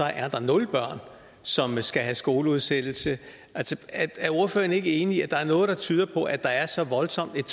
er nul børn som skal have skoleudsættelse er ordføreren så ikke enig i at der er noget der tyder på at der er et så voldsomt